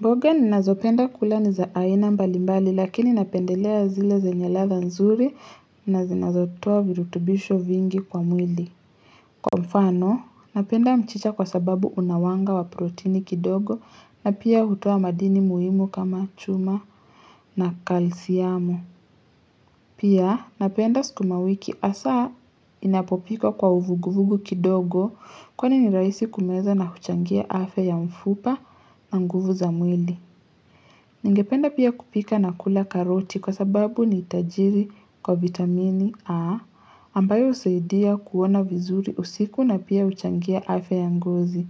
Mboga ninazopenda kula ni za aina mbali mbali lakini napendelea zile zenye ladha za nzuri na zinazotoa virutubisho vingi kwa mwili. Kwamfano, napenda mchicha kwa sababu unawanga wa proteini kidogo na pia hutoa madini muhimu kama chuma na kalsiyamo. Pia, napenda sukumawiki hasa inapopikwa kwa uvuguvugu kidogo kwa ni nirahisi kumeza na huchangia afya ya mfupa na nguvu za mwili. Ningependa pia kupika na kula karoti kwa sababu ni tajiri kwa vitamini A ambayo usaidia kuona vizuri usiku na pia uchangia afya yangozi.